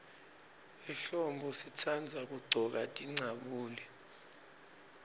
ehlombo sitandza kuggcoka tincabule